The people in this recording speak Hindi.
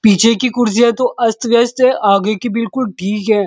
पीछे की कुर्सियां तो अस्त-व्यस्त हैं। आगे की बिल्कुल ठीक हैं।